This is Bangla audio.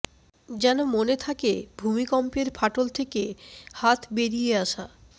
যেন মনে থাকে ভূমিকম্পের ফাটল থেকে হাত বেরিয়ে আসা